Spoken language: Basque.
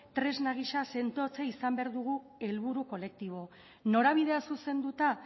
tresna gisa sendotzea izan behar dugu helburu kolektibo norabidea zuzenduta